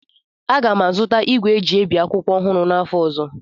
Aga m azụta igwe eji ebi akwụkwọ ọhụrụ n'afọ ọzọ